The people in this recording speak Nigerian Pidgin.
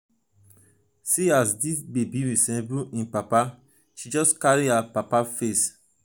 see as dis baby resemble im papa she just carry her papa face.